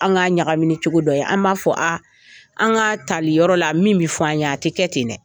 An ka ɲagami ni cogo dɔ ye, an b'a fɔ aa , an ka tali yɔrɔ la min bi fɔ an ye a ti kɛ ten dɛ!